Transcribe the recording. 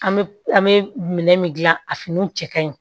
An bɛ an bɛ minɛn min dilan a finiw cɛ ka ɲi